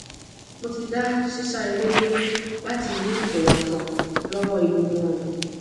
mo ti da sisa ere duro lati ni iwonsan lowo egungun orun